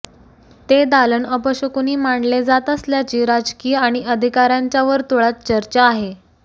ते दालन अपशकुनी मानले जात असल्याची राजकीय आणि अधिकाऱ्यांच्या वर्तुळात चर्चा आहे